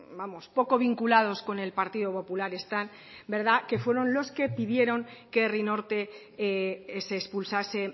poco vinculados con el partido popular están que fueron los que pidieron que herri norte que se expulsase